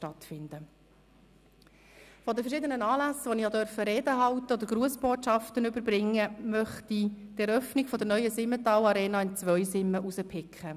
Von den verschiedenen Anlässen, an denen ich eine Rede gehalten oder Grussbotschaften überbracht habe, möchte ich die Eröffnung der neuen Simmental-Arena in Zweisimmen hervorheben.